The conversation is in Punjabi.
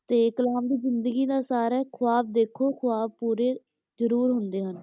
ਤੇ ਕਲਾਮ ਦੀ ਜ਼ਿੰਦਗੀ ਦਾ ਸਾਰ ਹੈ, ਖੁਆਬ ਦੇਖੋ, ਖੁਆਬ ਪੂਰੇ ਜ਼ਰੂਰ ਹੁੰਦੇ ਹਨ,